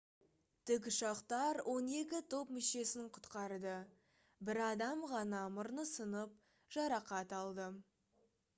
тік ұшақтар он екі топ мүшесін құтқарды бір адам ғана мұрны сынып жарақат алды